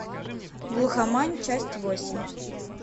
глухомань часть восемь